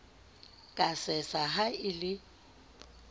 ka sesa ha o le